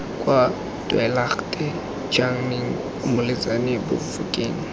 kwa tweelaagte chaneng moletsane bafokeng